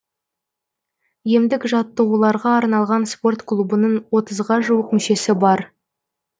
емдік жаттығуларға арналған спорт клубының отызға жуық мүшесі бар